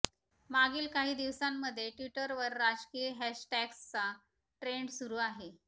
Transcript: मागील काही दिवसांमध्ये ट्विटरवर राजकीय हॅशटॅग्सचा ट्रेंड सुरु आहे